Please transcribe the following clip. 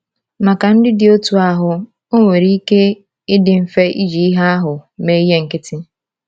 Maka ndị dị otú ahụ, ọ nwere ike ịdị mfe iji ìhè ahụ mee ihe nkịtị.